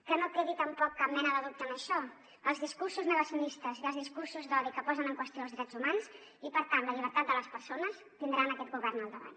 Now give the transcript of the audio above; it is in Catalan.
que no quedi tampoc cap mena de dubte en això els discursos negacionistes i els discursos d’odi que posen en qüestió els drets humans i per tant la llibertat de les persones tindran aquest govern al davant